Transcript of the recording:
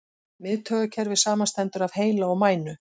Miðtaugakerfið samanstendur af heila og mænu.